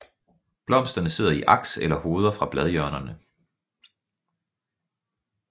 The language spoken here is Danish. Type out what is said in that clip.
Blomsterne sidder i aks eller hoveder fra bladhjørnerne